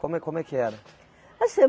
Como é como é que era? Assim